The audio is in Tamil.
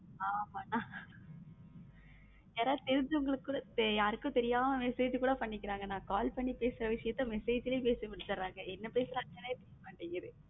ஆமா அண்ணா யாராவது தெரிஞ்சவங்க கூட யாருக்கும் தெரியாம message கூட பண்ணிக்கிறாங்க அண்ணா call பண்ணி பேசுற விஷயத்துல message லே பேசி முடிச்சிடுறாங்க என்ன பேசுறாங்கன்னு தெரிய மாட்டேங்குது